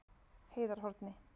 Heiðarhorni